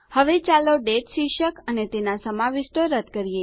હવે ચાલો દાતે શીર્ષક અને તેના સમાવિષ્ટો રદ કરીએ